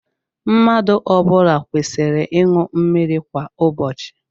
Mmadụ ọ bụla kwesịrị ịṅụ mmiri kwa ụbọchị.